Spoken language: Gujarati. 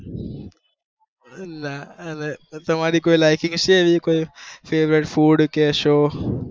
તમારી કોઈ liking હશે એવી કોઈ favourite food કે show